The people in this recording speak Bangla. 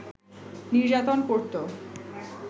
নির্যাতন করতো